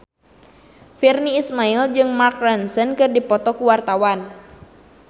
Virnie Ismail jeung Mark Ronson keur dipoto ku wartawan